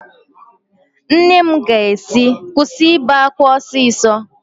Nne ya ga-asị, kwụsị ibe ákwá ọsịsọ!